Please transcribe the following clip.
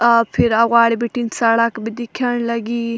आप फिर अवगाडी भिटिन सड़क भी दिख्यान लगीं।